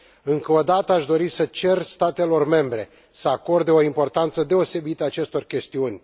Încă o dată, aș dori să cer statelor membre să acorde o importanță deosebită acestor chestiuni.